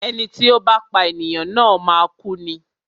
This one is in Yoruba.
Ẹni tí ó bá pá ènìyàn na máa kú ni.